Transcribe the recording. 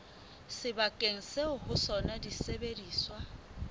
sebakeng seo ho sona disebediswa